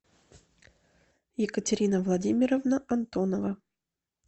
екатерина владимировна антонова